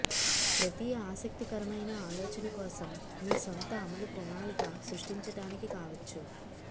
ప్రతి ఆసక్తికరమైన ఆలోచన కోసం మీ సొంత అమలు ప్రణాళిక సృష్టించడానికి కావచ్చు